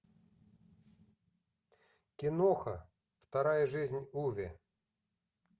киноха вторая жизнь уве